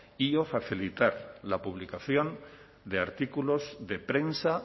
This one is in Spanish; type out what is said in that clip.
y o facilitar la publicación de artículos de prensa